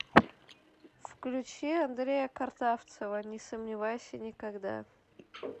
включи андрея картавцева не сомневайся никогда